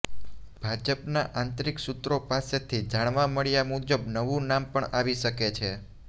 ભાજપનાં આંતરીક સૂત્રો પાસેથી જાણવા મળ્યા મુજબ નવું નામ પણ આવી શકે છે